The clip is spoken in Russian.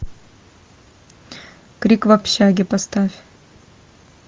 крик в общаге поставь